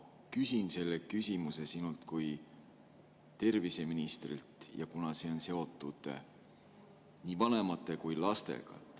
Ma küsin selle küsimuse sinult kui terviseministrilt ja see on seotud nii vanemate kui ka lastega.